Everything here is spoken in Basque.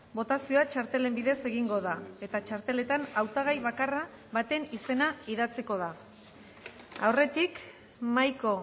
botazioa txartelen bidez egingo da eta txarteletan hautagai bakarra baten izena idatziko da aurretik mahaiko